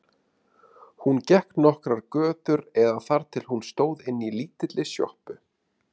Hún gekk nokkrar götur eða þar til hún stóð inni í lítilli sjoppu.